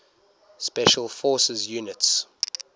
special forces units